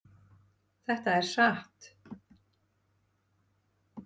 Þetta er satt!